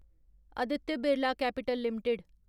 Aditya Birla Capital limited